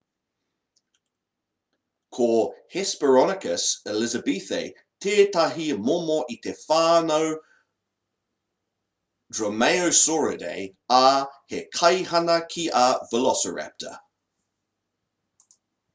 ko hesperonychus elizabethae tētahi momo o te whānau dromaeosauridae ā he kaihana ki a velociraptor